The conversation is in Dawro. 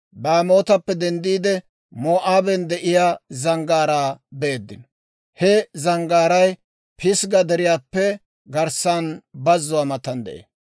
Baamootappe denddiide, Moo'aaben de'iyaa zanggaaraa beeddino; ha zanggaaray Pisgga Deriyaappe garssan bazzuwaa matan de'ee.